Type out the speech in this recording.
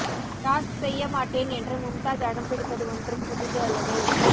task செய்ய மாட்டேன் என்று மும்தாஜ் அடம் பிடிப்பது ஒன்றும் புதிது அல்லவே